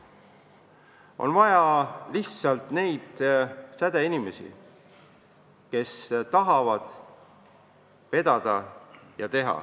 On vaja lihtsalt neid sädeinimesi, kes tahavad vedada.